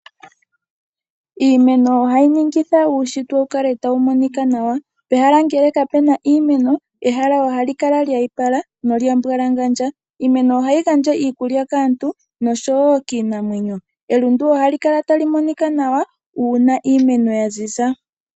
Iimeno ohayi ningitha uushitwe wu kale tawu monika nawa. Pehala ngele kapu na iimeno ehala ohali kala lya ipala nolyambwalangandja. Iimeno ohayi gandja iikulya kaantu nosho wo kiinamwenyo. Elundu ohali kala tali monika nawa uuna iimeno ya ziza.